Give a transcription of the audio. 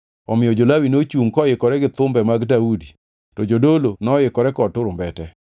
Omiyo jo-Lawi nochungʼ koikore gi thumbe mag Daudi to jodolo noikore kod turumbete.